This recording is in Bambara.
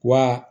Wa